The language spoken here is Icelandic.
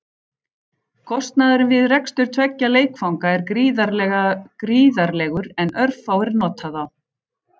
Kostnaðurinn við rekstur tveggja leikvanga er gríðarlegur en örfáir nota þá.